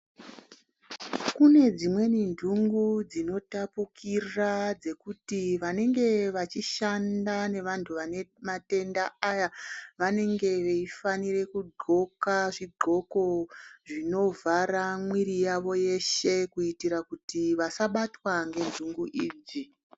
Kune dzimweni ndungu dzinotapukira dzekuti vanenge vachishanda nevantu vane matenda aya vanenge veifanira kudxoka zvidxoko zvinovhara mwiri yawo yeshe kuitia kuti vasabatwa ngendungu idzi.